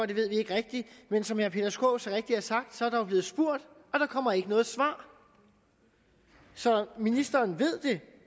det ved vi ikke rigtigt men som herre peter skaarup så rigtigt har sagt er der jo blevet spurgt og der kommer ikke noget svar så ministeren ved det